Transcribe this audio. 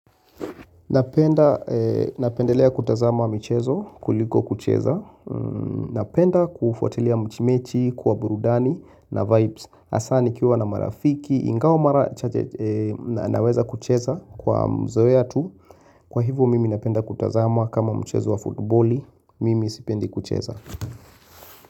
Napenda, napendelea kutazama michezo, kuliko kucheza. Napenda kufuatilia mchimechi, kwa burudani, na vibes. Hasa nikiwa na marafiki, ingawa mara naweza kucheza kwa mzoea tu. Kwa hivo mimi napenda kutazama kama mchezo wa futboli, mimi sipendi kucheza.